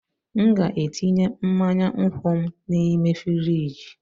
M ga-etinye mmanya nkwụ m n'ime frijị